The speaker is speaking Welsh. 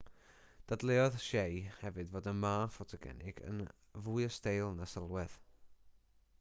dadleuodd hsieh hefyd fod y ma ffotogenig yn fwy o steil na sylwedd